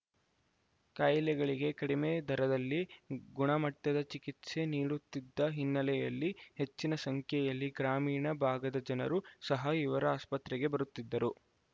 ಕಾಯಿಲೆಗಳಿಗೆ ಕಡಿಮೆ ದರದಲ್ಲಿ ಗುಣಮಟ್ಟದ ಚಿಕಿತ್ಸೆ ನೀಡುತ್ತಿದ್ದ ಹಿನ್ನೆಲೆಯಲ್ಲಿ ಹೆಚ್ಚಿನ ಸಂಖ್ಯೆಯಲ್ಲಿ ಗ್ರಾಮೀಣ ಭಾಗದ ಜನರು ಸಹ ಇವರ ಆಸ್ಪತ್ರೆಗೆ ಬರುತ್ತಿದ್ದರು